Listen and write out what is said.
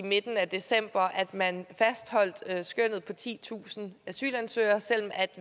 i midten af december at man fastholdt skønnet på titusind asylansøgere selv